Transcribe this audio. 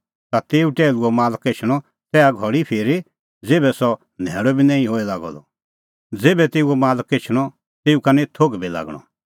ता तेऊ टैहलूओ मालक एछणअ तेसा धैल़ी फिरी ज़ेभै सह न्हैल़अ बी निं होए लागअ द ज़ेभै तेऊओ मालक एछणअ तेऊ का निं थोघ बी लागणअ